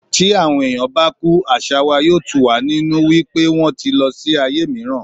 Tí àwọn ènìyàn bá kú, àṣà wa yóò tù wá nínú wípé wón ti lọ sí ayé mìíràn.